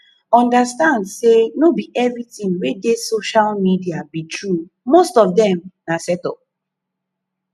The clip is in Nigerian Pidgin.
understand sey no be everything wey dey social media be true most of dem na set up